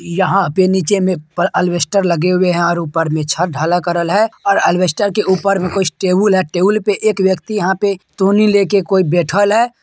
यहाँ पे नीचे में अल अलवेस्टर लगे हुए हैं ऊपर मे छत ढला करल है और अलवेस्टर के ऊपर में कुछ टेबुल हैं| टेबुल पे एक व्यक्ति यहाँ पे लेके कोई बेठल है।